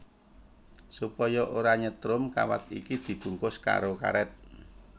Supaya ora nyetrum kawat iki dibungkus karo karét